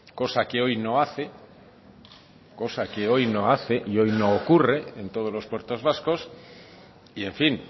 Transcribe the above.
cosa que hoy no hace cosa que hoy no hace y hoy no ocurre en todos los puertos vascos y en fin